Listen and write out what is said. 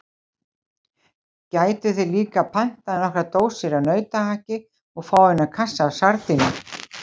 Gætuð þér líka pantað nokkrar dósir af nautahakki og fáeina kassa af sardínum.